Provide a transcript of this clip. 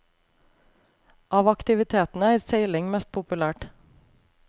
Av aktivitetene er seiling mest populært.